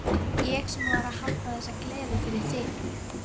Ég sem var að halda þessa gleði fyrir þig!